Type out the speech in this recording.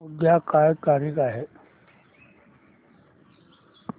उद्या काय तारीख आहे